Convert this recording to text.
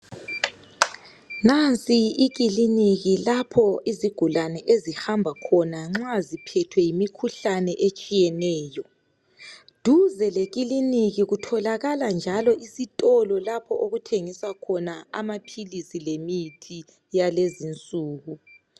Nansi ikiliniki lapho izigulane ezihamba khona nxa ziphethwe yimikhuhlane etshiyeneyo duze lekiliniki kutholakala njalo isitolo lapho okuthengiswa khona amaphilisi lemithi yalezi nsuku.